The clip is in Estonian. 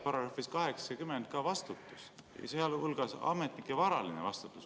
Paragrahvis 80 on kirjas ka vastutus, sealhulgas ametnike varaline vastutus.